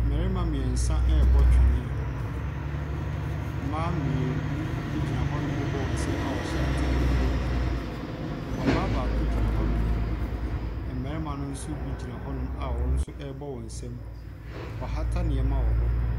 Mmarima mmeɛnsa rebɔ twene. Mmaa mmienu gyina hɔnom rebɔ wɔn nsam a wɔhyɛ atade korɔ. Ɔbaa baako gyina hɔnom. Mmarima no nso bi gyina hɔnom a wɔn nso rebɔ wɔn nsam. Wɔahata nneɛma wɔ hɔ.